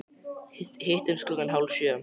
Hittumst klukkan hálf sjö.